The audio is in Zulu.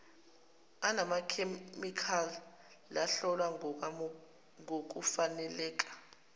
anamakhemikhali lahlolwa ngokufaneleka